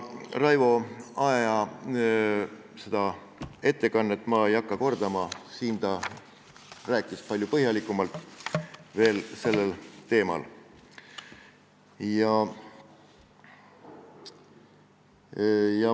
Raivo Aegi ettekannet ma kordama ei hakka, sest siin ta rääkis sellel teemal veel palju põhjalikumalt.